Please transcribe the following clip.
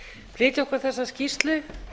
flytja okkur þessa skýrslu